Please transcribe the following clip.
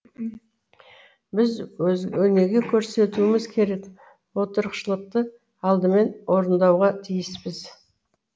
біз өнеге көрсетуіміз керек отырықшылдықты алдымен орындауға тиіспіз